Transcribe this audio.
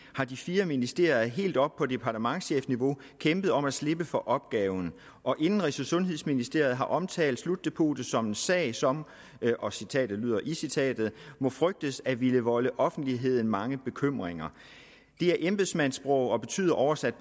har de fire ministerier helt oppe på departementschefniveau kæmpet om at slippe for opgaven og indenrigs og sundhedsministeriet har omtalt slutdepotet som en sag som og citatet lyder i citatet må frygtes at ville volde offentligheden mange bekymringer det er embedsmandssprog og betyder oversat